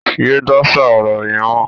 Yé dáṣà ọ̀rọ̀ yẹn mọ́!